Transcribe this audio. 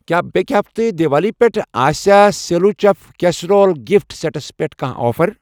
کیٛاہ بیٚکہِ ہفتہٕ دِوالی پٮ۪ٹھ آسیا سٮ۪لو چٮ۪ف کیسٮ۪رول گِفٹ سٮ۪ٹس پٮ۪ٹھ کانٛہہ آفر؟